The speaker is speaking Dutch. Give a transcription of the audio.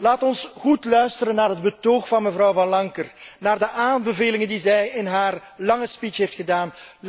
Laat ons goed luisteren naar het betoog van mevrouw Van Lancker, naar de aanbevelingen die zij in haar lange speech heeft gedaan.